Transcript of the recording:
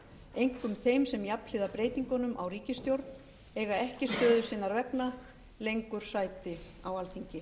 einkum þeim sem jafnhliða breytingunum á ríkisstjórn eiga ekki stöðu sinnar vegna lengur sæti á alþingi